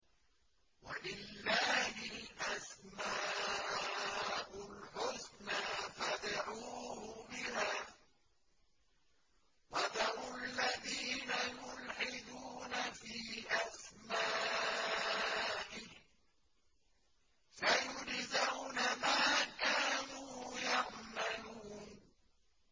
وَلِلَّهِ الْأَسْمَاءُ الْحُسْنَىٰ فَادْعُوهُ بِهَا ۖ وَذَرُوا الَّذِينَ يُلْحِدُونَ فِي أَسْمَائِهِ ۚ سَيُجْزَوْنَ مَا كَانُوا يَعْمَلُونَ